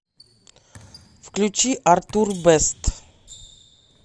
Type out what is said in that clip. включи артур бэст